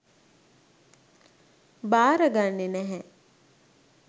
භාරගන්නෙ නැහැ.